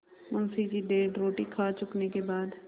मुंशी जी डेढ़ रोटी खा चुकने के बाद